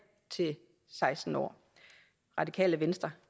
til seksten år radikale venstre